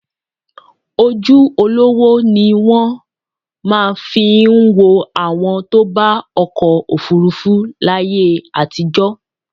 Ojú olówó ní wọ́n fi máa ń wo àwọn tó bá ọkọ̀ òfuurufú láyé àtijọ́